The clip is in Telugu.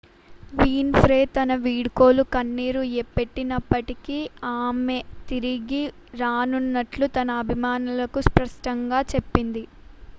విన్ ఫ్రే తన వీడ్కోలులో కన్నీరు పెట్టినప్పటికీ ఆమె తిరిగి రానున్నట్లు తన అభిమానులకు స్పష్టంగా చెప్పింది